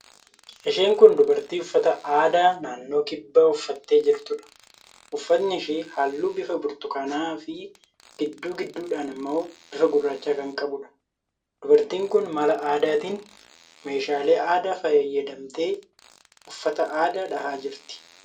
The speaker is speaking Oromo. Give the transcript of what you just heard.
Isheen kun dubartii uffata aadaa naannoo kibbaa uffattee jirtuudha. Uffatni ishee halluu bifa burtukaanaafi gidduu gidduudhaan immoo bifa gurraacha kan qabuudha. Dubartiin kun mala aadaatiin, meeshaalee aadaa fayyadamtee uffata aadaa dhahaa jirti.